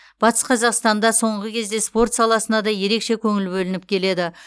батыс қазақстанда соңғы кезде спорт саласына да ерекше көңіл бөлініп келеді